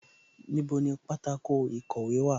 Níbo ni pátákó ìkọ̀wé wà?